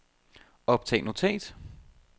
optag notat